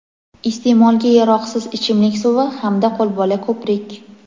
iste’molga yaroqsiz ichimlik suvi hamda qo‘lbola ko‘prik.